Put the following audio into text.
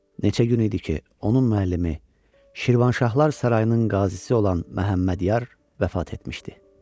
Neçə gün idi ki, onun müəllimi, Şirvanşahlar Sarayının qazısı olan Məhəmmədyar vəfat etmişdi.